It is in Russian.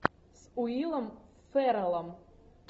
с уиллом ферреллом